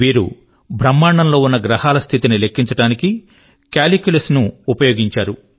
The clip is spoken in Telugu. వీరు బ్రహ్మాండం లో ఉన్న గ్రహాల స్థితి ని లెక్కించడానికి కాల్క్యులస్ ను ఉపయోగించారు